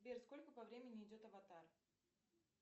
сбер сколько по времени идет аватар